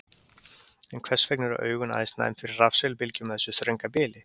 en hvers vegna eru augun aðeins næm fyrir rafsegulbylgjum á þessu þrönga bili